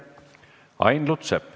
Ain Lutsepp.